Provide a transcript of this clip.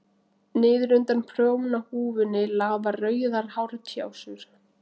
Niður undan prjónahúfunni lafa rauðar hártjásur.